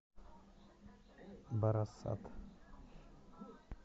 барасат